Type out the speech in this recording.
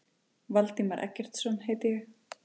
Valdimar Eggertsson heiti ég.